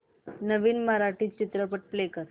नवीन मराठी चित्रपट प्ले कर